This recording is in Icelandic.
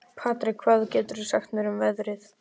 Patrek, hvað geturðu sagt mér um veðrið?